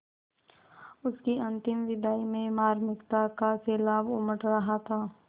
उसकी अंतिम विदाई में मार्मिकता का सैलाब उमड़ रहा था